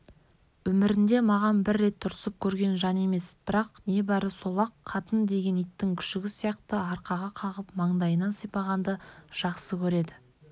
өмірінде маған бір рет ұрсып көрген жан емес бірақ небары сол-ақ қатын деген иттің күшігі сияқты арқаға қағып маңдайынан сипағанды жақсы көреді